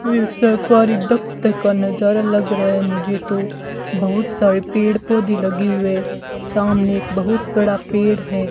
ये सरकारी दफ्तर का नजारा लग रहा है मुझे तो बहुत सारे पेड़ पौधे लगे हुए सामने एक बहुत बड़ा पेड़ है।